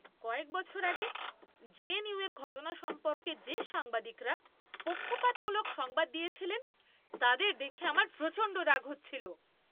কয়েক বছর আগে জেএনইউর ঘটনা সম্পর্কে যে সাংবাদিকরা পক্ষপাতমূলক সংবাদ দিয়েছিলেন, তাদের দেখে আমার প্রচণ্ড রাগ হচ্ছিল।